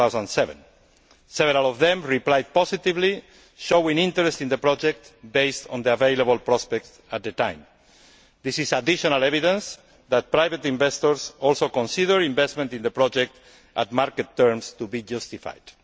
2007. Several of them replied positively, showing interest in the project based on the available prospects at the time. This is additional evidence that private investors also consider investment in the project at market terms to be justified.